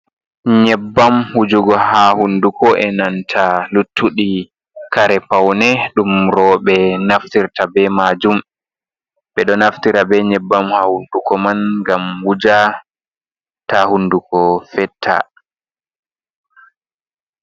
Nyebbam wujugo ha hunduko, e nanta luttuɗi kare paune, ɗum roɓe naftirta be majum, ɓe ɗo naftira be nyebbam ha hunduko man gam wuja ta hunduko fetta.